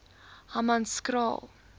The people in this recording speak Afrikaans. hammanskraal